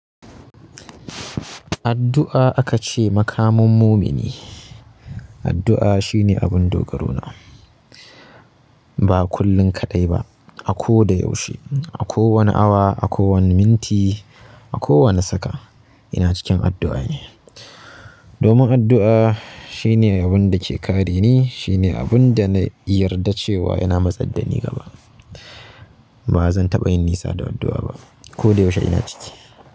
Addu'a aka ce makamun mumini. Addu'a shine abun dogaro na. Ba kullin kaɗai ba, a ko da yaushe, a kowane awa, a kowane minti, a kowane saka ina cikin addu'a ne. Domin addu'a shine wanda ke kare ni, shine abun da na yarda cewa yana matsaddani gaba. Bazan taɓa yin nisa da addu'a ba ko da yaushe ina ciki.